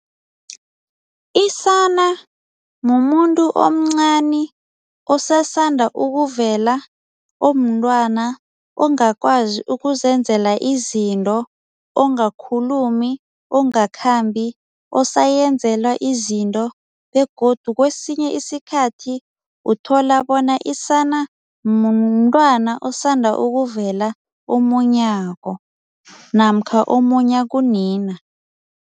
Isana mumuntu omncani osasanda ukuvela omntwana ongakwazi ukuzenzela izinto ongakhulumi ongakakhambi osayenzelwa izinto begodu kwesinye isikhathi uthola bona isana mntwana osanda ukuvela omunyako namkha omunya kunina.